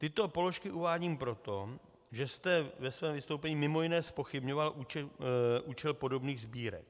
Tyto položky uvádím proto, že jste ve svém vystoupení mimo jiné zpochybňoval účel podobných sbírek.